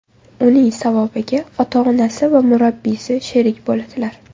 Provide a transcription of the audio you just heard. Uning savobiga ota-onasi va murabbiysi sherik bo‘ladilar.